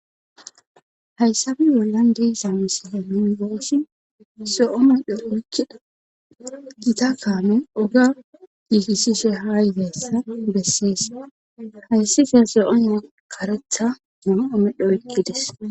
Hayssabe bollan deyisamisihemingoossi so7o medho oykkida gita paame oga gihisishe haa ytessa bessees hayssise so7one karetha mum7o medho ekkides.